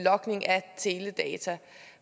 teledata